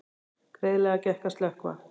Greiðlega gekk að slökkva